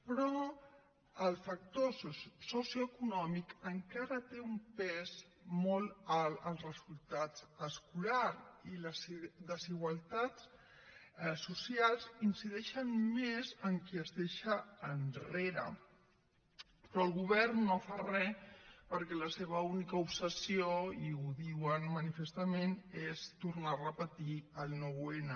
però el factor socioeconòmic encara té un pes molt alt als resultats escolars i les desigualtats socials incideixen més en qui es deixa enrere però el govern no fa re perquè la seva única obsessió i ho diuen manifestament és tornar a repetir el nou n